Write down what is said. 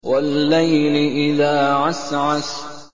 وَاللَّيْلِ إِذَا عَسْعَسَ